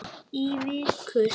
Í viku.